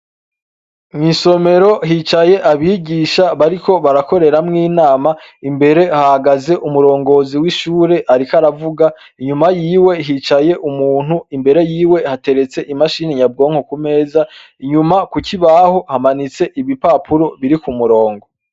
Mwisomero hicaye abigisha bariko barakoreramwo inama, imbere hahagaze umurongozi w'ishure ariko aravuga, inyuma yiwe hicaye umuntu, imbere yiwe hateretse imashini nyabwonko, kumeza inyuma kukibaho hamanitse ibipapuro biri kumurongo.